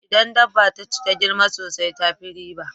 Idan dabba taci ta girma sosai tafi riba